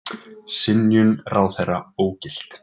Synjun ráðherra ógilt